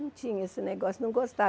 Não tinha esse negócio, não